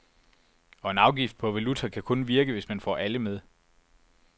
Og en afgift på valuta kan kun virke, hvis man får alle med.